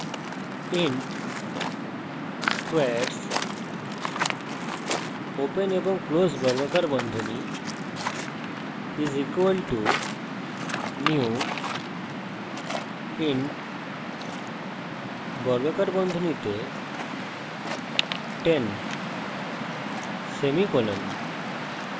int squares = new int 10;